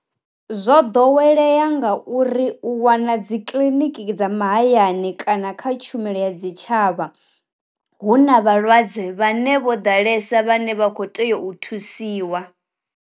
Zwo ḓowelea nga uri u wana dzi kiḽiniki dza mahayani kana kha tshumelo ya dzi tshavha, hu na vhalwadze vhane vho ḓalesa vhane vha kho tea u thusiwa.